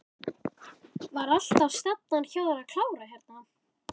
Var alltaf stefnan hjá þér að klára hérna?